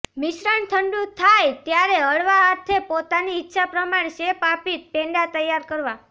મિશ્રણ ઠંડુ થાય ત્યારે હળવા હાથે પોતાની ઈચ્છા પ્રમાણે શેપ આપીને પેંડા તૈયાર કરવા